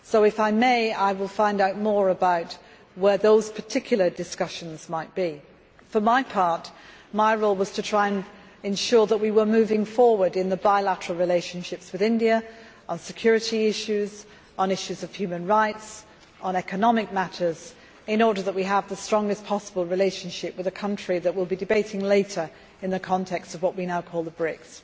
So, if I may, I will find out more about where those particular discussions might be. For my part, my role was to try to ensure that we were moving forward in the bilateral relationships with India on security issues, on issues of human rights and on economic matters, in order that we have the strongest possible relationship with a country that we will be debating later in the context of what we now call the BRICS.